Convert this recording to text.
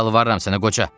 Yalvarıram sənə qoca.